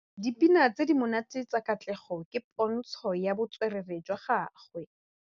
Dipina tse di monate tsa Katlego ke pôntshô ya botswerere jwa gagwe.